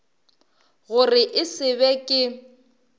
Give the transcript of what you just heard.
gore e se be ke